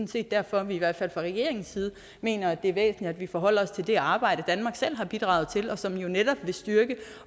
set derfor at vi i hvert fald fra regeringens side mener det er væsentligt at vi forholder os til det arbejde danmark selv har bidraget til og som jo netop vil styrke